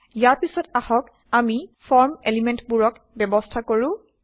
ইয়াৰ পিছত আহক আমি ফৰ্ম এলিমেন্টবোৰক ব্যবস্থা কৰো